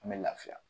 An bɛ lafiya